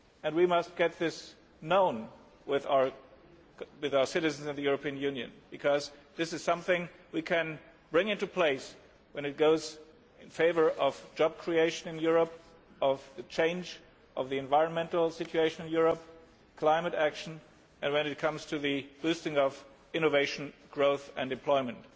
We must make this known among our citizens in the European Union because this is something we can bring into place when it goes in favour of job creation in Europe, change in the environmental situation in Europe, climate action, and when it comes to boosting innovation, growth and employment.